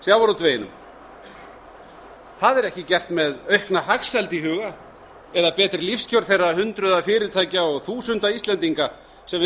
sjávarútveginum það er ekki gert með aukna hagsæld í huga eða betri lífskjör þeirra hundruða fyrirtækja og þúsunda íslendinga sem við